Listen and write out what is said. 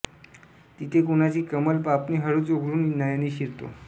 तिथे कुणाची कमल पापणी हळूच उघडून नयनी शिरतो